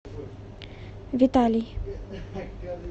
виталий